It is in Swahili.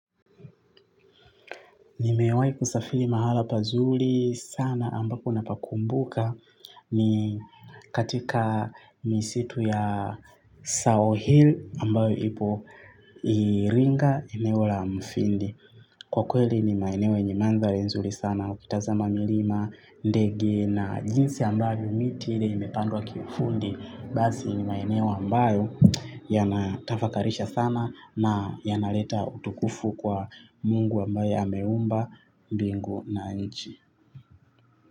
Nimewahi kusafiri mahala pazuri sana ambako napakumbuka ni katika misitu ya South Hill ambayo ipo Iringa eno la mufindi. Kwa kweli ni maeneo yenye mandhari nzuri sana. Ukitazama milima, ndege na jinsi ambavyo miti ile imepandwa kiufundi basi ni maeneo ambayo yanatafakarisha sana. Na yanaleta utukufu kwa mungu ambaye ameumba bingu na nchi.